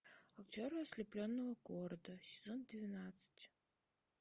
актеры ослепленного города сезон двенадцать